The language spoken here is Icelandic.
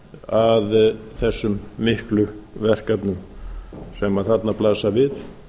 að þessum miklu verkefnum sem þarna blasa við